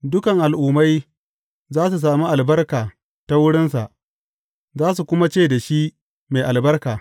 Dukan al’ummai za su sami albarka ta wurinsa, za su kuma ce da shi mai albarka.